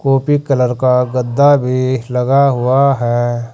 Copy colour का गद्दा भी लगा हुआ है।